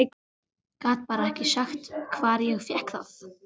Gat bara ekki sagt hvar ég fékk það.